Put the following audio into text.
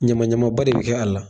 Ɲamaɲamaba de be kɛ a la.